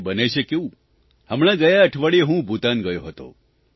અને બને છે કેવું હમણાં ગયા અઠવાડિયે હું ભૂતાન ગયો હતો